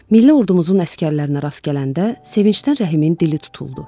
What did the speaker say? Milli ordumuzun əsgərlərinə rast gələndə sevincdən Rəhimin dili tutuldu.